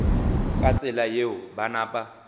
ka tsela yeo ba napa